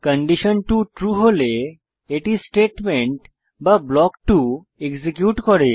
condition 2 true হলে এটি statement বা ব্লক 2 এক্সিকিউট করে